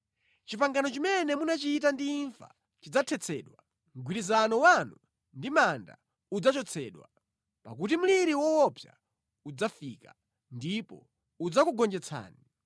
Pangano limene munachita ndi imfa lidzathetsedwa; mgwirizano wanu ndi manda udzachotsedwa. Pakuti mliri woopsa udzafika, ndipo udzakugonjetsani.